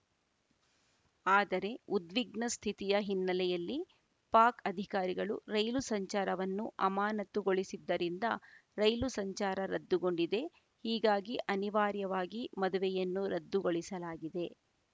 ಆದರೆ ಉದ್ವಿಗ್ನ ಸ್ಥಿತಿಯ ಹಿನ್ನೆಲೆಯಲ್ಲಿ ಪಾಕ್‌ ಅಧಿಕಾರಿಗಳು ರೈಲು ಸಂಚಾರವನ್ನು ಅಮಾನತುಗೊಳಿಸಿದ್ದರಿಂದ ರೈಲು ಸಂಚಾರ ರದ್ದುಗೊಂಡಿದೆ ಹೀಗಾಗಿ ಅನಿವಾರ್ಯವಾಗಿ ಮದುವೆಯನ್ನು ರದ್ದುಗೊಳಿಸಲಾಗಿದೆ